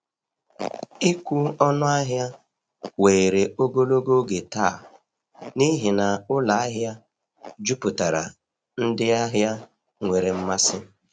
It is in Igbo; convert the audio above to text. Ịkwụ ọnụ ahịa were ogologo oge taa n’ihi na ụlọ ahịa juputara ndị ahịa nwere mmasị.